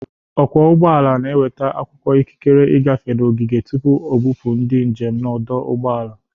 Ọkwọ ụgbọala na-enweta akwụkwọ ikikere i gafe n'ogige tupu o bụpụ ndị njem n'ọdụ ụgbọ ala.